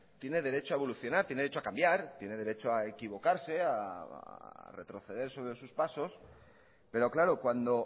tiene derecho a evolucionar tiene derecho a cambiar tiene derecho a equivocarse a retroceder sobre sus pasos pero claro cuando